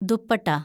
dupatta